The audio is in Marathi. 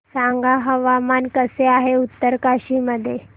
सांगा हवामान कसे आहे उत्तरकाशी मध्ये